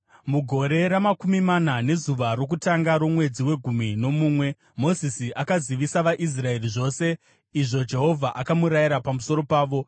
Mugore ramakumi mana, nezuva rokutanga romwedzi wegumi nomumwe, Mozisi akazivisa vaIsraeri zvose izvo Jehovha akamurayira pamusoro pavo.